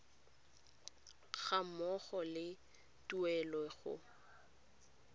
ga mmogo le tuelo go